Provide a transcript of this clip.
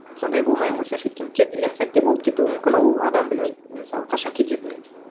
сондай болмай ақ қойсыншы өйткені кез келген сәтте болып кетуі мүмкін ол адам білмейді мысалы қашан кететінін